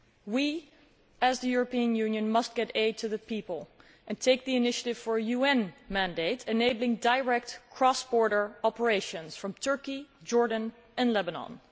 We as the European Union must get aid to the people and take the initiative for a UN mandate enabling direct cross border operations from Turkey, Jordan and Lebanon.